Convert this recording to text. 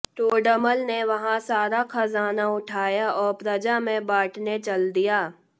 टोडरमल ने वह सारा खजाना उठाया और प्रजा में बांटने चल दिया